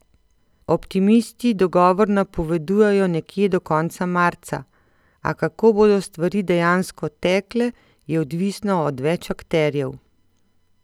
Optimisti dogovor napovedujejo nekje do konca marca, a kako bodo stvari dejansko tekle, je odvisno od več akterjev.